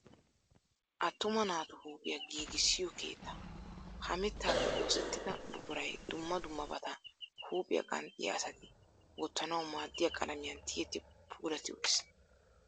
Attuma naatu huuphiya giigissiyo keettaa. Ha mittaappe oosettida buquray dumma dummabata huuphiya qanxxiya asati wottanawu maaddiya qalamiyan tiyetti puulatti uttis.